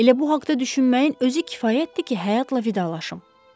Elə bu haqda düşünməyin özü kifayətdir ki, həyatla vidalaşım.